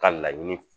Ka laɲini